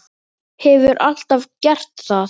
Hefur alltaf gert það.